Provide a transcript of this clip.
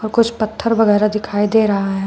कुछ पत्थर वगैरा दिखाई दे रहा है।